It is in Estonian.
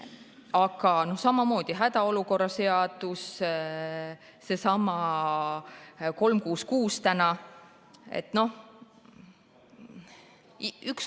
Aga samamoodi hädaolukorra seadus, seesama 366.